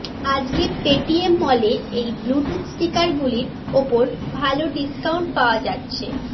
আজকে পেটিএমমলে এই ব্লুটুথ স্পিকার গুলির ওপর ভাল ডিস্কাউন্ট পাওয়া যাচ্ছে